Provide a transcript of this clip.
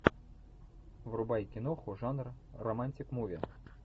врубай киноху жанр романтик муви